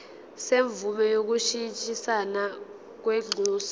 semvume yokushintshisana kwinxusa